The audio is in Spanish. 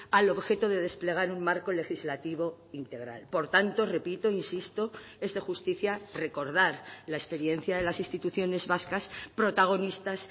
al objeto de desplegar un marco legislativo integral por tanto repito insisto es de justicia recordar la experiencia de las instituciones vascas protagonistas